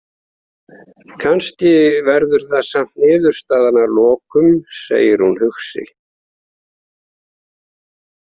Kannski verður það samt niðurstaðan að lokum, segir hún hugsi.